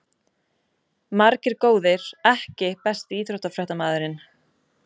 Margir góðir EKKI besti íþróttafréttamaðurinn?